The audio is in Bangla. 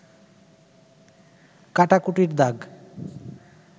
কাটাকুটির দাগ